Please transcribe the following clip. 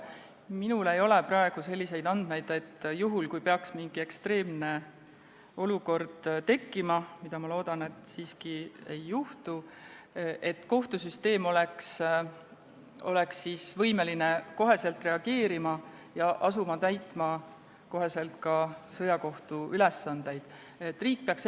Minul ei ole praegu selliseid andmeid, et kui peaks mingi ekstreemne olukord tekkima – ma loodan, et seda siiski ei juhtu –, siis kohtusüsteem oleks võimeline kohe reageerima ja kohe ka sõjakohtu ülesandeid täitma asuma.